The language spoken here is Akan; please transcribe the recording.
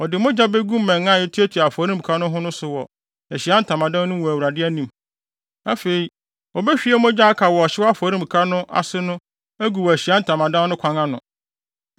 Ɔde mogya begu mmɛn a etuatua afɔremuka no ho no so wɔ Ahyiae Ntamadan no mu wɔ Awurade anim. Afei obehwie mogya a aka wɔ ɔhyew afɔre no afɔremuka no ase no agu wɔ Ahyiae Ntamadan no kwan ano.